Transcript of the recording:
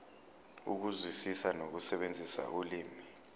ukuzwisisa nokusebenzisa ulimi